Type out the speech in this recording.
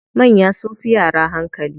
Manya sunfi yara hankali.